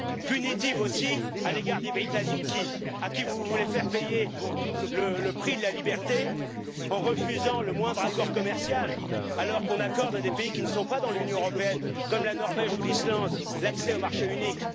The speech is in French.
Punitive aussi à l'égard des Britanniques, à qui vous voulez faire payer le prix de la liberté, en refusant le moindre accord commercial alors qu'on accorde à des pays qui ne sont pas dans l'Union européenne, comme la Norvège ou l'Islande, l'accès au marché unique.